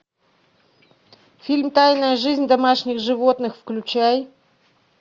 фильм тайная жизнь домашних животных включай